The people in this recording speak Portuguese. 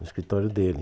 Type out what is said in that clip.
No escritório dele.